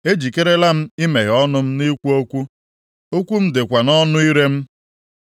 Ejikerela m imeghe ọnụ m ikwu okwu; okwu m dịkwa nʼọnụ ire m.